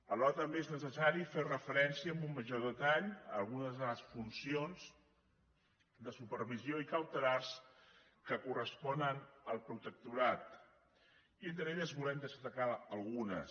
alhora també és necessari fer referència amb un major detall a algunes de les funcions de supervisió i cautelars que corresponen al protectorat i entre elles en volem destacar algunes